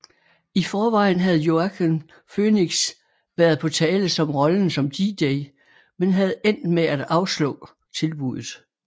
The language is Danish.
I forvejen havde Joaquin Phoenix været på tale som rollen som DJ men havde endt med at afslå tilbuddet